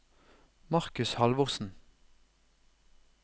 Markus Halvorsen